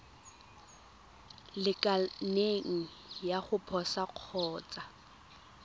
lekaneng ya go posa kgotsa